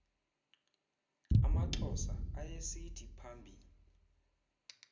amaxhosa ayesithi phambi